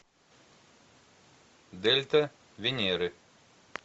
дельта венеры